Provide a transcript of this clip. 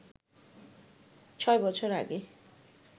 ছয় বছর আগে